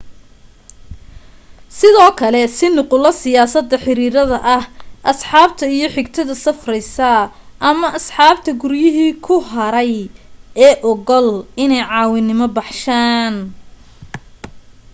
sidoo kale sii nuqulo siyaasada/ xiriirada ah asxaabta iyo xigtada safraysa ama asxaabta guryihii ku haray ee ogol inay caawimo baxshaan